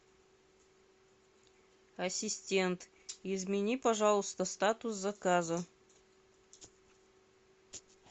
ассистент измени пожалуйста статус заказа